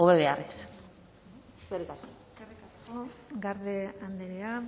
hobe beharrez eskerrik asko eskerrik asko garde andrea